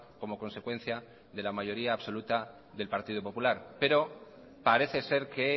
como consecuencia de la mayoría absoluta del partido popular pero parece ser que